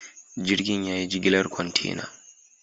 Jirgin ya yi jigilar kwantena.